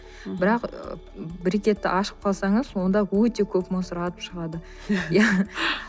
бірақ брекетті ашып қалсаңыз онда өте көп мусор атып шығады